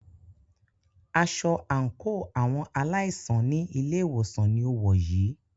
Aṣọ àńkò àwọn aláìsàn ní ilé ìwòsàn ní o wọ̀ yìí.